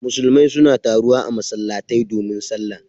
Musulmai suna taruwa a masallatai domin sallah.